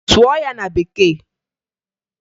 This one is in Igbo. Sụọ ya na Bekee!